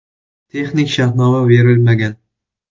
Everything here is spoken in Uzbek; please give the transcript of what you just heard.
Texnik shartnoma berilmagan.